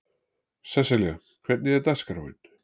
Sesselja, hvernig er dagskráin?